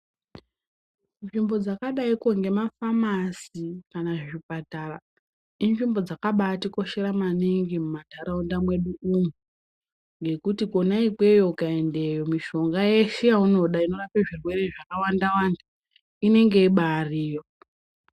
Nzvimbo dzakadaiko ngema famasi kana zvipatara inzvimbo dzakabaiti koshera maninga muma ndaraunda medumo ngekuti konako ikweyo ukaendeyo mishonga yeshe yaunoda inorape zvirwere zvaka wanda wanda inenge ibairiyo.